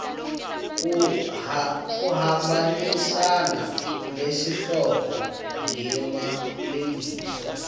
kuhambisana nesihloko ngemalengiso